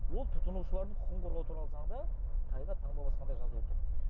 ол тұтынушылардың құқығын қорғау туралы заңда тайға таңба басқандай жазылып тұр